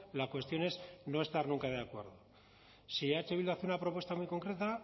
la cuestión es no estar nunca de acuerdo si eh bildu hace una propuesta muy concreta